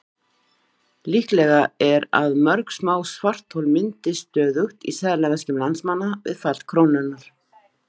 Líklegra er að mörg smá svarthol myndist stöðugt í seðlaveskjum landsmanna við fall krónunnar.